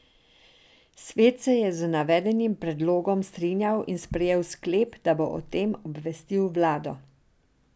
Svet se je z navedenim predlogom strinjal in sprejel sklep, da bo o tem obvestil vlado.